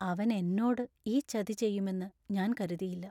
അവൻ എന്നോട് ഈ ചതി ചെയ്യുമെന്ന് ഞാൻ കരുതിയില്ല.